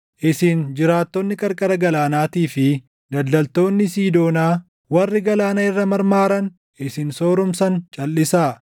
Isin jiraattoonni qarqara galaanaatii fi daldaltoonni Siidoonaa, warri galaana irra marmaaran isin sooromsan calʼisaa.